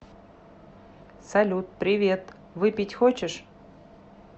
салют привет выпить хочешь